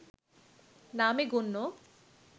নামে গণ্য